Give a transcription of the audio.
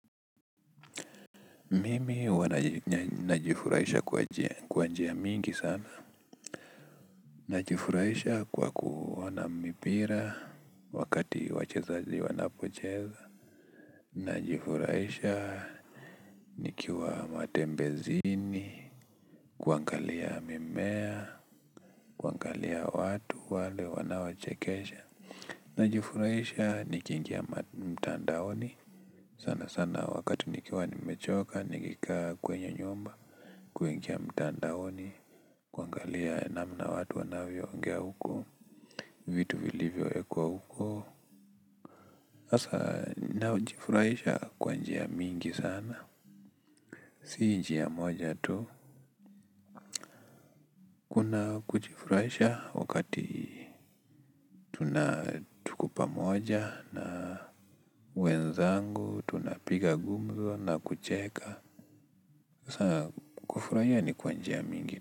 Mimi huwa najifurahisha kwa njia mingi sana najifurahisha kwa kuona mipira. Wakati wachezaji wanapocheza najifurahisha nikiwa matembezini. Kuangalia mimea kuangalia watu wale wanawachekesha. Najifurahisha nikiingia mtandaoni sana sana wakati nikiwa nimechoka. Nikikaa kwenye nyumba. Kuingia mtandaoni kuangalia namna watu wanavyoongea huko vitu vilivyo ekwa huko hasa najifurahisha kwa njia mingi sana. Si njia moja tu kuna kujifurahisha wakati tuna tuko pamoja na wenzangu tunapiga gumzo na kucheka sa kufurahia ni kwa njia mingi.